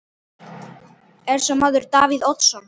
Er sá maður Davíð Oddsson?